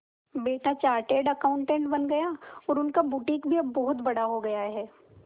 बेटा chartered accountant बन गया और उनका बुटीक भी अब बहुत बड़ा हो गया है